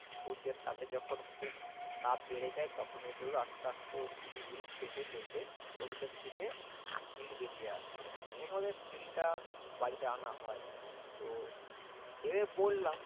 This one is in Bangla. সূর্যের তাপে যখন খুব বেড়ে যায় তখন ঐগুলো আস্তে আস্তে ওই শুটি গুলো ফেটে ফেটে ওর ভিতর থেকে তিল বেরিয়ে আসে এর পরে তিলটা বাড়িতে আনা হয় তো এমনে বললাম